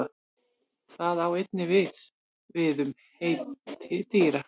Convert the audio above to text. Það á einnig við við um heiti dýra.